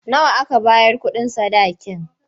Nawa aka bayar kuɗin sadakin?